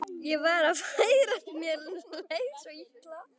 Ég var að farast, mér leið svo illa.